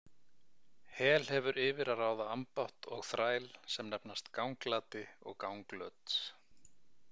Hel hefur yfir að ráða ambátt og þræl sem nefnast Ganglati og Ganglöt.